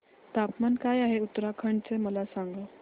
तापमान काय आहे उत्तराखंड चे मला सांगा